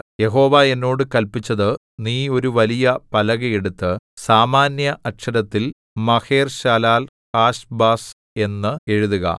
യഹോവ എന്നോട് കല്പിച്ചത് നീ ഒരു വലിയ പലക എടുത്ത് സാമാന്യഅക്ഷരത്തിൽ മഹേർശാലാൽ ഹാശ്ബസ് എന്ന് എഴുതുക